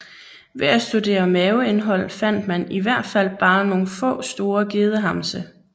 Ved at studere maveindhold fandt man i hvert fald bare nogle få store gedehamse